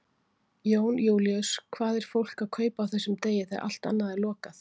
Jón Júlíus: Hvað er fólk að kaupa á þessum degi þegar allt annað er lokað?